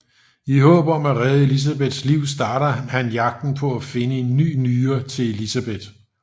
I håb om at redde Elisabeths liv starter han jagten på at finde en ny nyre til Elisabeth